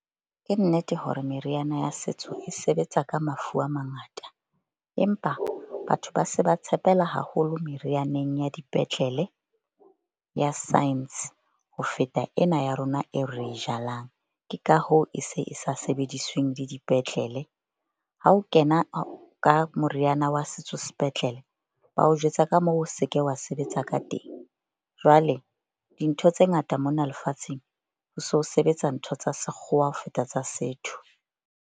Ke nnete hore meriana ya setso e sebetsa ka mafu a mangata, empa batho ba se ba tshepela haholo merianeng ya dipetlele ya science ho feta ena ya rona e re e jalang. Ke ka hoo, e se e sa sebedisweng le dipetlele. Ha o kena ka moriana wa setso sepetlele, ba o jwetsa ka moo o se ke wa sebetsa ka teng. Jwale dintho tse ngata mona lefatsheng ho so sebetsa ntho tsa sekgowa ho feta tsa setho.